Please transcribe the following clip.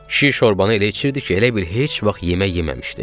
Kişi şorbanı elə içirdi ki, elə bil heç vaxt yemək yeməmişdi.